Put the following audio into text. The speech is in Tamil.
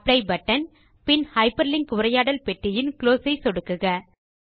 அப்ளை பட்டன் பின் ஹைப்பர்லிங்க் உரையாடல் பெட்டியின் குளோஸ் பட்டன் ஐ சொடுக்குக